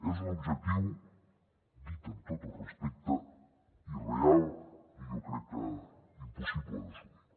és un objectiu dit amb tot el respecte irreal i jo crec que impossible d’assolir